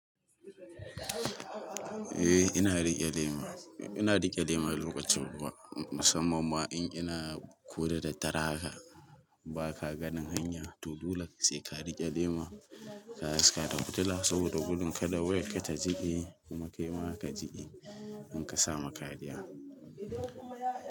Eh ina rike lema, ina rike lema lokaci ruwa, musamman ma in ina ko da daddare haka ba ka gani hanya to dole sai ka rike lema, ka haska da fitila saboda gudun kada wayar ka ta jike kuma kaima ka jike in ka samu kariya.